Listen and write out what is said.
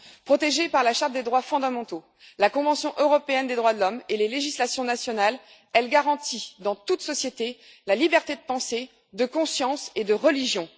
Protégée par la charte des droits fondamentaux, la Convention européenne des droits de l'homme et les législations nationales, elle garantit, dans toute société, la liberté de pensée, de conscience et de religion.